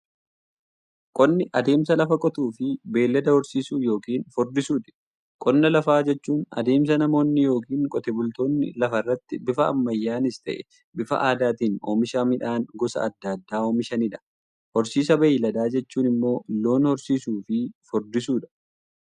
Qonni adeemsa lafa qotuufi beeylada horsiisuu yookiin furdisuuti. Qonna lafaa jechuun adeemsa namoonni yookiin Qotee bultoonni lafarraatti bifa ammayyanis ta'ee, bifa aadaatiin oomisha midhaan gosa adda addaa oomishaniidha. Horsiisa beeyladaa jechuun immoo loon horsiisuufi furdisuudha.